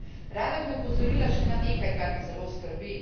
Rada bi opozorila še na nekaj, kar me zelo skrbi.